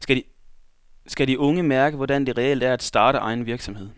Skal de unge mærke, hvordan det reelt er at starte egen virksomhed?